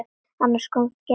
Annars kom gestur.